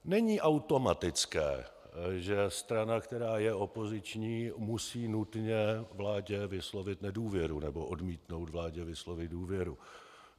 Není automatické, že strana, která je opoziční, musí nutně vládě vyslovit nedůvěru nebo odmítnout vládě vyslovit důvěru.